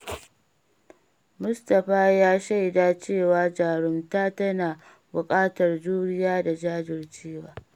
Mustapha ya shaida cewa jarumta tana buƙatar juriya da jajircewa.